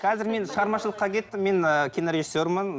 қазір мен шығармашылыққа кеттім мен ы кинорежиссермын